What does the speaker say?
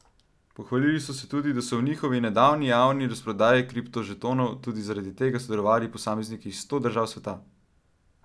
Pohvalili so se tudi, da so v njihovi nedavni javni razprodaji kriptožetonov tudi zaradi tega sodelovali posamezniki iz sto držav sveta.